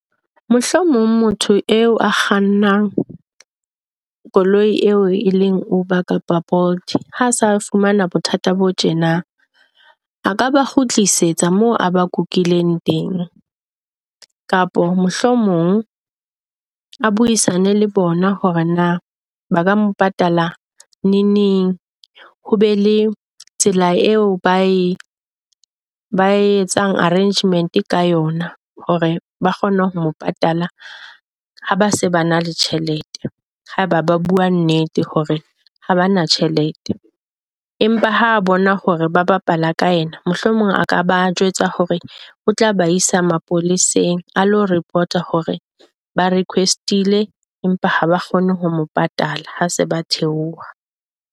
Mohlomong motho eo a kgannang koloi eo e leng Uber kapa Bolt ha sa fumana bothata bo tjena, a ka ba kgutlisetsa moo a ba kukileng teng, kapa mohlomong a buisane le bona hore na ba ka mo patala neneng ho be le tsela eo ba e ba etsang arrangement ka yona hore ba kgone ho mo patalla ha ba se ba na le tjhelete. Haeba ba bua nnete hore ha ba na tjhelete empa ha bona hore ba bapala ka yena mohlomong a ka ba jwetsa hore o tla ba isa mapoleseng a lo report hore ba request-ile empa ha ba kgone ho mo patala ha se ba theoha.